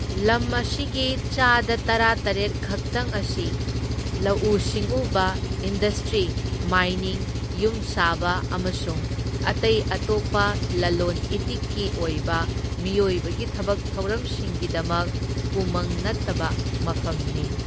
ꯂꯝ ꯑꯁꯤꯒꯤ ꯆꯥꯗ ꯇꯔꯥꯇꯔꯦꯠ ꯈꯛꯇꯪ ꯑꯁꯤ ꯂꯧꯎ ꯁꯤꯡꯎꯕ, ꯏꯟꯗꯁꯇ꯭ꯔꯤ, ꯃꯥꯏꯅꯤꯡ, ꯌꯨꯝꯁꯥꯕ ꯑꯃꯁꯨꯡ ꯑꯇꯩ ꯑꯇꯣꯞꯄ ꯂꯂꯣꯟ ꯏꯇꯤꯛꯀꯤ ꯑꯣꯏꯕ ꯃꯤꯑꯣꯏꯕꯒꯤ ꯊꯕꯛ ꯊꯧꯔꯝꯁꯤꯡꯒꯤꯗꯃꯛ ꯎꯃꯪ ꯅꯠꯇꯕ ꯃꯐꯝꯅꯤ꯫